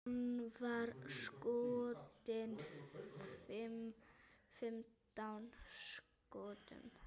Hann var skotinn fimmtán skotum.